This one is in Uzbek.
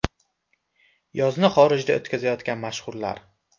Yozni xorijda o‘tkazayotgan mashhurlar .